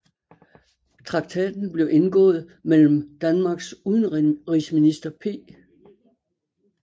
Traktaten blev indgået mellem Danmarks udenrigsminister P